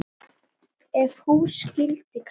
Ef hús skyldi kalla.